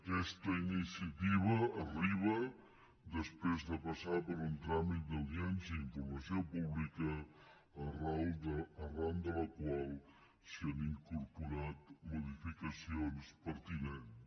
aquesta iniciativa arriba després de passar per un tràmit d’audiència i informació pública arran de la qual s’hi ha incorporat modificacions pertinents